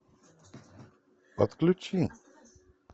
отключи